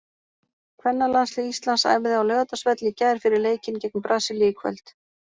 Kvennalandslið Íslands æfði á Laugardalsvelli í gær fyrir leikinn gegn Brasilíu í kvöld.